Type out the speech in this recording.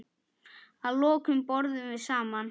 Að lokum borðum við saman.